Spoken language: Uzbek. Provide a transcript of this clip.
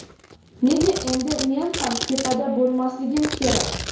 "Nega endi men ham tepada bo‘lmasligim kerak?"